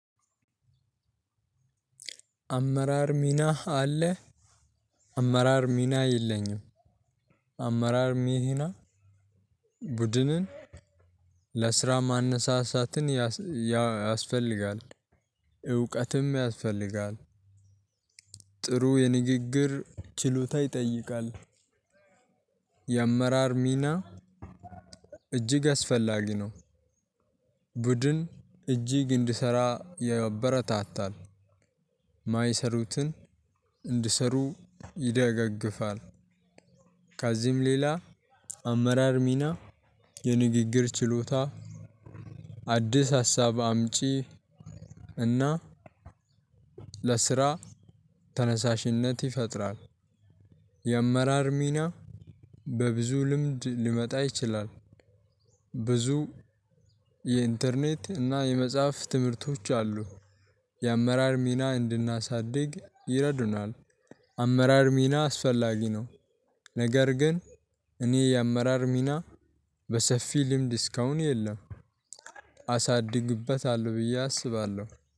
አመራር ሚና አለህ? አመራር ሚና የለኝም። አመራር ሚህና። ቡድንን ለስራ ማነሳሳትን ያስፈልጋል እውቀትም ያስፈልጋል። ጥሩ የንግግር ችሎታ ይጠይቃል። የአመራር ሚና እጅግ አስፈላጊ ነው። ቡድን እጅግ እንድሰራ ያበረታታል። ማይሰሩትን እንድሰሩ ይደጋግፋል። ከዚህም ሌላ አመራር ሚና የንግግር ችሎታ። አዲስ ሀሳብ አምጪ እና ለስራ ተነሳሽነት ይፈጥራል። የአመራር ሚና በብዙ ልምድ ሊመጣ ይችላል። ብዙ የኢንተርኔት እና የመጽሐፍ ትምህርቶች አሉ። የአመራር ሚና እንድናሳድግ ይረዱናል። አመራር ሚና አስፈላጊ ነው። ነገር ግን እኔ የአመራር ሚና በሰፊ ልምድ እስካሁን የለም። አሳድግበታለሁ ብዬ አስባለሁ።